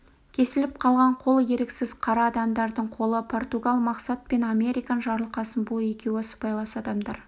кесіліп қалған қол еріксіз қара адамдардың қолы португал мақсат мен американ жарылқасын бұл екеуі сыбайлас адамдар